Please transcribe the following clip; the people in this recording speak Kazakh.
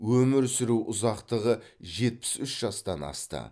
өмір сүру ұзақтығы жетпіс үш жастан асты